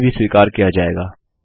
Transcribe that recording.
यह अभी भी स्वीकार किया जाएगा